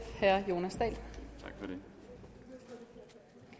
man